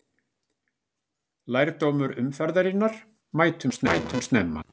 Lærdómur umferðarinnar: Mætum snemma!